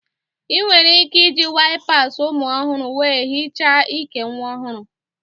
Ị nwere ike iji waips ụmụ ọhụrụ wee hichaa ike nwa ọhụrụ